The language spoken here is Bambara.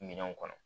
Minɛnw kɔnɔ